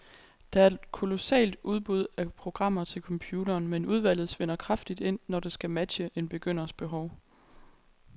Der er et kolossalt udbud af programmer til computeren, men udvalget svinder kraftigt ind, når det skal matche en begynders behov.